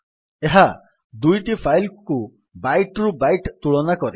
ଏହା ଦୁଇଟି ଫାଇଲ୍ କୁ ବାଇଟ୍ ରୁ ବାଇଟ୍ ତୁଳନା କରେ